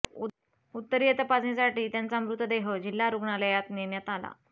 उत्तरीय तपासणीसाठी त्यांचा मृतदेह जिल्हा रुग्णालयात नेण्यात आला